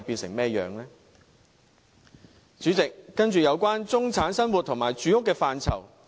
代理主席，接着是有關中產生活和住屋的範疇。